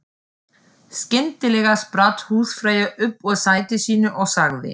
Skyndilega spratt húsfreyja upp úr sæti sínu og sagði